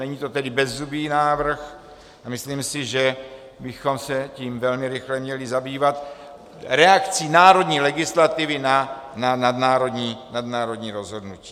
Není to tedy bezzubý návrh a myslím si, že bychom se tím velmi rychle měli zabývat, reakcí národní legislativy na nadnárodní rozhodnutí.